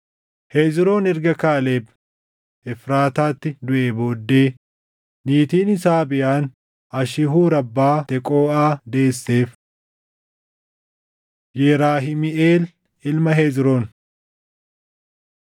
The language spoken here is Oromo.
Hezroon erga Kaaleb Efraataatti duʼee booddee, niitiin isaa Abiyaan Ashihuur abbaa Teqooʼaa deesseef. Yerahimiʼeel Ilma Hezroon